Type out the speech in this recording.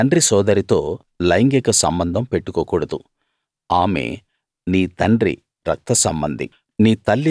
నీ తండ్రి సోదరితో లైంగిక సంబంధం పెట్టుకోకూడదు ఆమె నీ తండ్రి రక్తసంబంధి